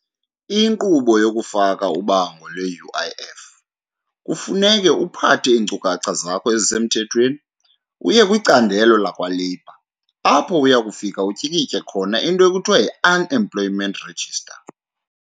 Inkqubo yokufaka ubango lwe-U_I_F, kufuneke uphathe iinkcukacha zakho ezisemthethweni uye kwicandelo lakwaLabour apho uya kufika utyikitye khona into ekuthiwa yi-unemployment register.